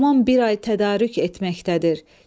Tamam bir ay tədarük etməkdədir.